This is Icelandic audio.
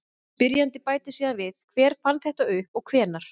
Spyrjandi bætir síðan við: Hver fann þetta upp og hvenær?